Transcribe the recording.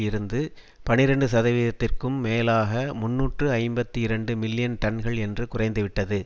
இருந்து பனிரண்டு சதவிகிதத்திற்கும் மேலாக முன்னூற்று ஐம்பத்தி இரண்டு மில்லியன் டன்கள் என்று குறைந்துவிட்டது